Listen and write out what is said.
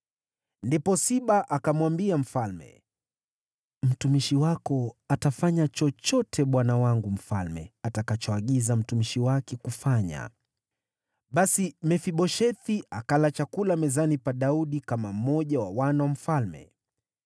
Ndipo Siba akamwambia mfalme, “Mtumishi wako atafanya chochote bwana wangu mfalme atakachoagiza mtumishi wake kufanya.” Basi Mefiboshethi akala chakula mezani pa Daudi kama mmoja wa wana wa mfalme.